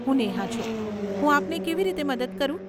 હું નેહા છું, હું આપને કેવી રીતે મદદ કરું?